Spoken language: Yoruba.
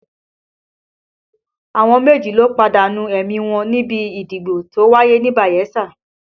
Àwọn méjì ló pàdánù ẹ̀mí wọn níbi ìdìbò tó wáyé ní Bayelsa